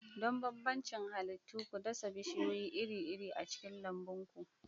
Don bambancin halittu, ku dasa bishiyoyi iri-iri a cikin lambun ku.